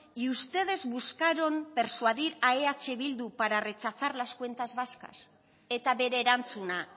y ustedes buscaron persuadir a eh bildu para rechazar las cuentas vascas eta bere erantzuna